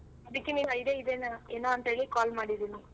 ಅದಿಕ್ಕೆ idea ಇದೇನೋ ಏನೋ ಅಂತ ಹೇಳಿ call ಮಾಡಿದ್ದೀನಿ.